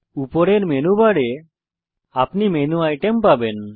উপরের মেনু বারে আপনি মেনু আইটেম পাবেন